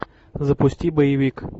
запусти боевик